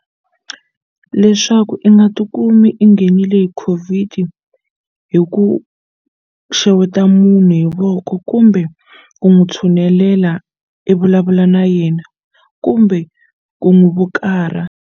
Leswaku i nga tikumi i nghenile hi COVID hi ku xeweta munhu hi voko kumbe ku n'wu tshunelela i vulavula na yena kumbe ku n'wi vukarha.